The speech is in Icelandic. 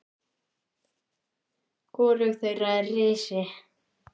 Hvorug þeirra er risin.